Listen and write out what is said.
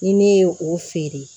Ni ne ye o feere